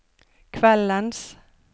kveldens